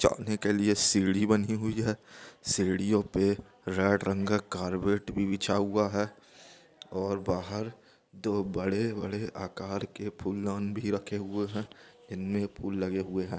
छड़ने क लिए सीढी बनी हुई हे सीडियों पे रेड रंग का कार्पेट भी बिचचा हुआ हे ओर बाहर दो बड़े-बड़े आकार के फूलदान भी रखे हुए हे इन मे फूल लगे हुए हे।